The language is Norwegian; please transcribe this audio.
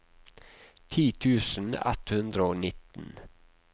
ti tusen ett hundre og nitten